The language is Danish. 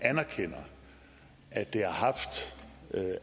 anerkender at det har haft